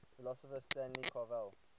philosopher stanley cavell